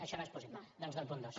això no és possible doncs del punt dos